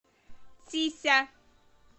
цися